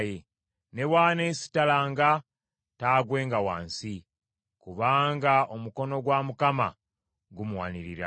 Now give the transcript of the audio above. Ne bw’aneesittalanga, taagwenga wansi, kubanga omukono gwa Mukama gumuwanirira.